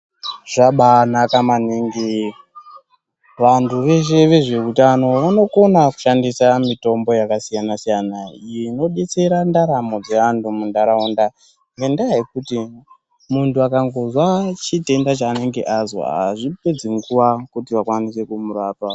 Zvabaanaka maningi vantuu veshe vezveutano vanokona kushandisa mitombo yakasiyanasiyana iyi inobetsera ndaramo dzevanhu muunharaunda ngendaa yekuti muntu akangonzwa chitenda chaanenge anzwa azvipenzi nguva kuti vakwanise kumurapa.